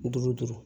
Duuru duuru